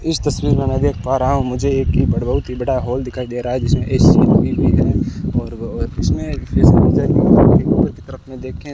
इस तस्वीर मैं देख पा रहा हूं मुझे एक बड़ बहोत ही बड़ा हॉल दिखाई दे रहा है जिसमे ए_सी भी हैं और इसमें फेस उपर की तरफ देखें --